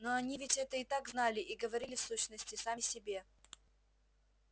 но они ведь это и так знали и говорили в сущности сами себе